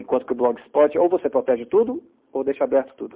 Enquanto que o Blog explode, ou você protege tudo, ou deixa aberto tudo.